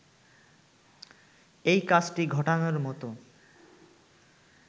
এই কাজটি ঘটানোর মতো